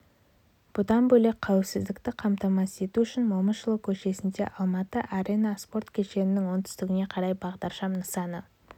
бұдан бөлек қауіпсіздікті қамтамасыз ету үшін момышұлы көшесінде алматы арена спорт кешенінің оңтүстігіне қарай бағдаршам нысаны